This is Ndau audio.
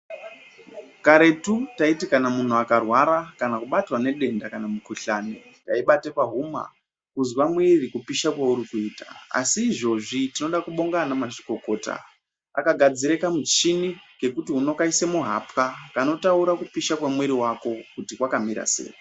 Karetu taiti muntu kana akarwara kana kubatwa nedenda kana mukuhlani, taibate pahuma kuzwa mwiri kupisha kwauri kuita asi izvozvi tinoda kubonga anamazvikokota akagadzire kamuchini kekuti unokaise muhapwa kanotaura kupisha kwemwiri wako kuti kwakamira sei.